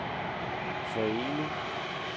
forening